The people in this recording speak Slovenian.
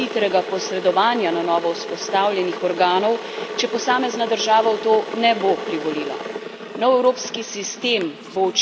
Kaj lahko pričakujemo v primeru hitrega posredovanja na novo vzpostavljenih organov, če posamezna država v to ne bo privolila?